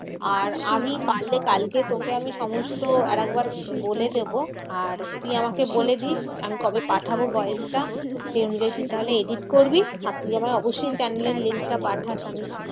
আর আমি পারলে কালকে তোকে আমি সমস্ত আরেকবার বলে দেব। আর তুই আমাকে বলবি আমি কবে পাঠাবো voice টা? সেই অনুযায়ী তুই তাহলে edit করবি। আর তুই আমায় অবশ্যই channel এর link টা পাঠাস। আমি